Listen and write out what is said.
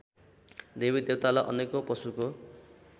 देवीदेवतालाई अनेकौँ पशुको